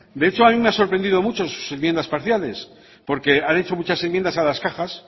de hecho a mi me ha sorprendido mucho sus enmiendas parciales porque han hecho muchas enmiendas a las cajas